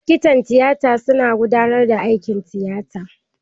Likitan tiyata su na gudanar da aikin tiyata.